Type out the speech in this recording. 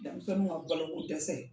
Denmisɛnninw ka balo ko dɛsɛ.